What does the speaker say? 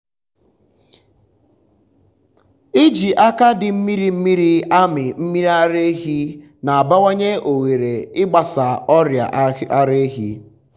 iji aka dị mmiri mmiri amị mmiri ara ehi na-abawanye ohere ịgbasa ọrịa ara ehi.